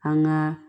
An ka